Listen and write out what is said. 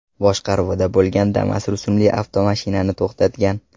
boshqaruvida bo‘lgan Damas rusumli avtomashinani to‘xtatgan.